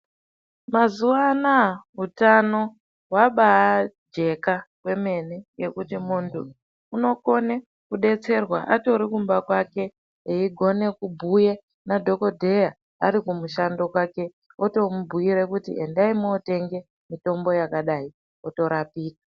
Mazuva anawa hutano hwaba jeka kwemene ngenda yekuti mundu anokona kudetserwa atori kumba kwake veigona kubhuya nadhokotera ari kumushando kwake otomubhuira kuti endai kundotenga mitombo yakadai otorapika.